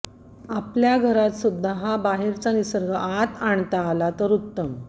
आपल्या घरातसुद्धा हा बाहेरचा निसर्ग आत आणता आला तर उत्तम